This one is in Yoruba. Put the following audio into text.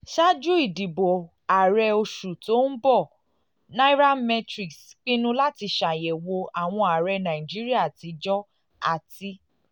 ṣáájú ìdìbò ààrẹ oṣù tó ń bọ̀ nairametrics pinnu láti ṣàyẹ̀wò àwọn ààrẹ nàìjíríà àtijọ́ àti